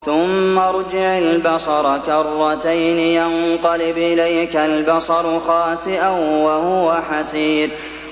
ثُمَّ ارْجِعِ الْبَصَرَ كَرَّتَيْنِ يَنقَلِبْ إِلَيْكَ الْبَصَرُ خَاسِئًا وَهُوَ حَسِيرٌ